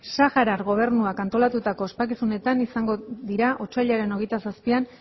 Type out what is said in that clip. saharar gobernuak antolatutako ospakizunetan izango dira otsailaren hogeita zazpian